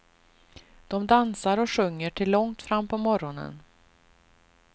De dansar och sjunger till långt fram på morgonen.